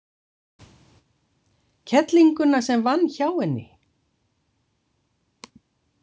Kellinguna sem vann hjá henni?